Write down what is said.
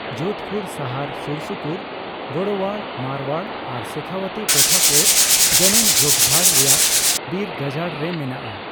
ᱡᱳᱫᱷᱯᱩᱨ ᱥᱟᱦᱟᱨ ᱥᱩᱨᱼᱥᱩᱯᱩᱨ ᱜᱳᱲᱳᱣᱟᱲ, ᱢᱟᱨᱣᱟᱲ, ᱟᱨ ᱥᱮᱠᱷᱟᱣᱟᱛᱤ, ᱴᱚᱴᱷᱟ ᱠᱚ ᱡᱟᱱᱩᱢ ᱡᱷᱳᱯᱡᱷᱟᱲ ᱨᱮᱭᱟᱜ ᱵᱤᱨᱜᱟᱡᱟᱲ ᱨᱮ ᱢᱮᱱᱟᱜᱼᱟ ᱾